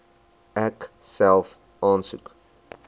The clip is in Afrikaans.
ek self aansoek